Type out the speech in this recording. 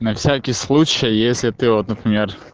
на всякий случай если ты вот например